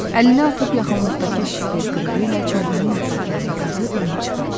Əlini atıb yaxınlıqdakı şifer qırığı ilə çaydanın ətraflarını qazıb onu çıxartdı.